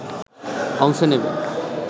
অংশ নেবে